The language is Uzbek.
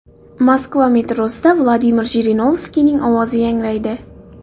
Moskva metrosida Vladimir Jirinovskiyning ovozi yangraydi.